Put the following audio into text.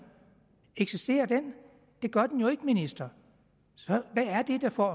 eksisterer den det gør den jo ikke ministeren så hvad er det der får